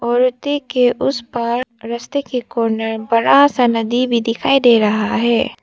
व्यक्ति के उस पार रस्ते के कॉर्नर बड़ा सा नदी भी दिखाई दे रहा है।